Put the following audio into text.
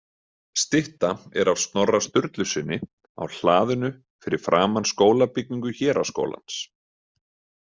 Stytta er af Snorra Sturlusyni á hlaðinu fyrir framan skólabyggingu héraðsskólans.